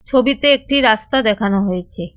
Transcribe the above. ছবিতে একটি রাস্তা দেখানো হয়েছে।